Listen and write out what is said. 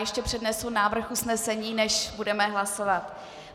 Ještě přednesu návrh usnesení, než budeme hlasovat.